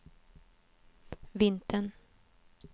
vintern